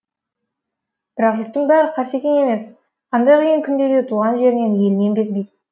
бірақ жұрттың бәрі қарсекең емес қандай қиын күнде де туған жерінен елінен безбейді